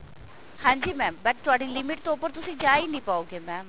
ਹਾਂਜੀ mam but ਤੁਹਾਡੀ limit ਤੋਂ ਉੱਪਰ ਤੁਸੀਂ ਜਾ ਹੀ ਨਹੀਂ ਪਾਓਗੇ mam